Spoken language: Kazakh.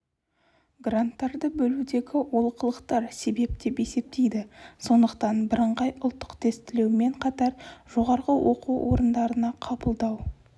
гранттарды бөлудегі олқылықтар себеп деп есептейді сондықтан бірыңғай ұлттық тестілеумен қатар жоғарғы оқу орындарына қабылдау